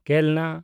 ᱠᱮᱞᱱᱟ